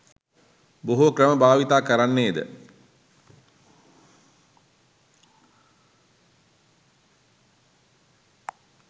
බොහෝ ක්‍රම භාවිත කරන්නේද